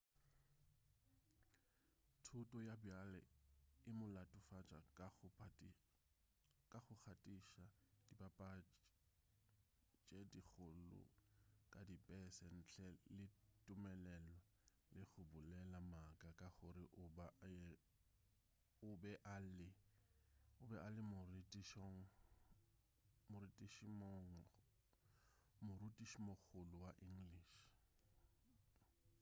thuto ya bjale e mo latofatša ka go gatiša dipapatši tše dikgolo ka dipese ntle le tumelelo le go bolela maaka ka gore o be a le morutišimogolo wa english